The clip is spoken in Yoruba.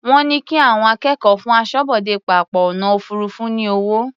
Wọ́n ní kí àwọn akẹ́kọ̀ọ́ fún aṣọ́bodè pápá ọ̀nà òfuurufú ní owó.